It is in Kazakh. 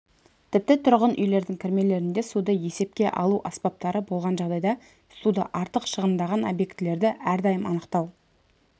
тіпті тұрғын үйлердің кірмелерінде суды есепке алу аспаптары болған жағдайда суды артық шығындаған объектілерді әрдайым анықтау